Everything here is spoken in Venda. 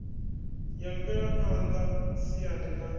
ya mvelaphan ḓa siani ḽa